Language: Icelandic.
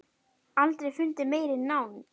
Aldrei fundið meiri nánd.